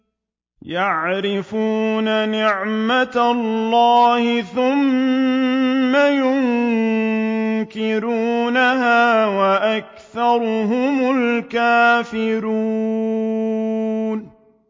يَعْرِفُونَ نِعْمَتَ اللَّهِ ثُمَّ يُنكِرُونَهَا وَأَكْثَرُهُمُ الْكَافِرُونَ